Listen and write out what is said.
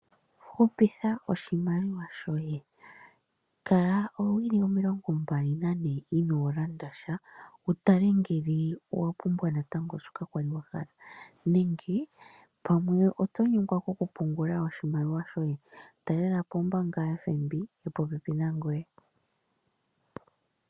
Hupitha oshimaliwa shoye, kala owili 24 inolanda sha, wutale ngele owa pumbwa natango shoka kwali wahala, nenge pamwe otonyengwa kokupungula oshimaliwa shoye? Talelapo ombaanga yotango yopashigwana yili popepi nangoye.